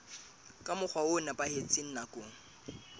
ka mokgwa o nepahetseng nakong